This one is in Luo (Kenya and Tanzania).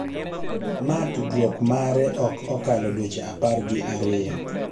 ma tudruok mare ok okalo dweche apar gi ariyo